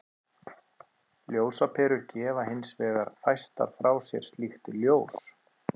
Ljósaperur gefa hins vegar fæstar frá sér slíkt ljós.